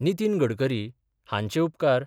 नितीन गडकरी हांचे उपकार